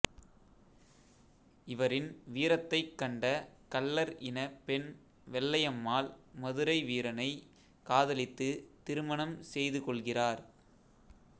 இவரின் வீரத்தைக் கண்ட கள்ளர் இன பெண் வெள்ளையம்மாள் மதுரை வீரனை காதலித்து திருமணம் செய்து கொள்கிறார்